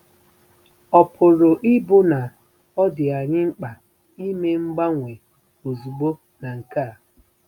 Ọ̀ pụrụ ịbụ na ọ dị anyị mkpa ime mgbanwe ozugbo na nke a?